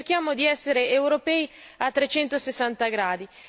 quindi cerchiamo di essere europei a 360 gradi.